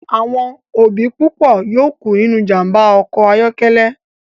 Awọn obi pupo yoo ku ninu ijamba ọkọ ayọkẹlẹ